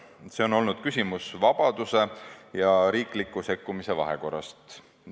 See on olnud küsimus vabaduse ja riikliku sekkumise vahekorrast.